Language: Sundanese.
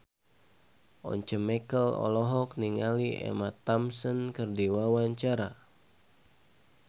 Once Mekel olohok ningali Emma Thompson keur diwawancara